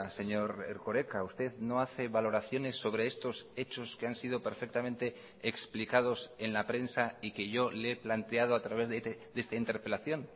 señor erkoreka usted no hace valoraciones sobre estos hechos que han sido perfectamente explicados en la prensa y que yo le he planteado a través de esta interpelación